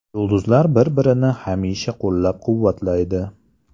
Yulduzlar bir-birini hamisha qo‘llab-quvvatlaydi.